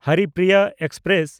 Haripriya express